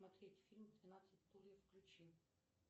смотреть фильм двенадцать стульев включи